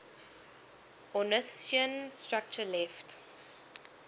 ornithischian structure left